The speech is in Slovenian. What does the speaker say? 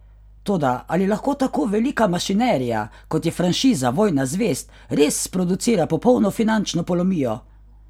Toda ali lahko tako velika mašinerija, kot je franšiza Vojna zvezd, res sproducira popolno finančno polomijo?